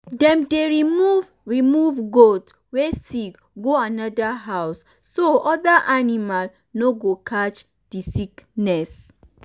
dem dey remove remove goat wey sick go another house so other animal no go catch the sickness.